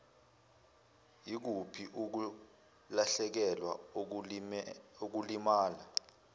yikuphi ukulahlekelwa ukulimala